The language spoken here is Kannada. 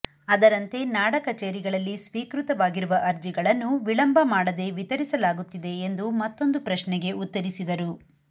ಅದರಂತೆ ನಾಡಕಚೇರಿಗಳಲ್ಲಿ ಸ್ವೀಕೃತವಾಗಿರುವ ಅರ್ಜಿಗಳನ್ನು ವಿಳಂಬ ಮಾಡದೇ ವಿತರಿಸಲಾಗುತ್ತಿದೆ ಎಂದು ಮತ್ತೊಂದು ಪ್ರಶ್ನಿಗೆ ಉತ್ತರಿಸಿದರು